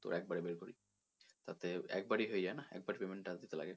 তোর একবারে বের করি তাতে একবারেই হয়ে যায় না একবার ই payment charge দিতে লাগে।